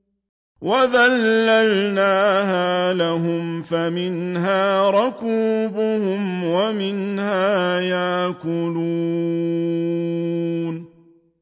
وَذَلَّلْنَاهَا لَهُمْ فَمِنْهَا رَكُوبُهُمْ وَمِنْهَا يَأْكُلُونَ